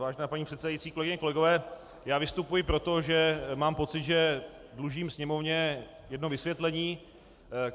Vážená paní předsedající, kolegyně, kolegové, já vystupuji proto, že mám pocit, že dlužím Sněmovně jedno vysvětlení.